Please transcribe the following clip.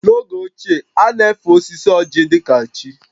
N’oge ochie, a na-efe osisi ọ́jị̀ dị ka chi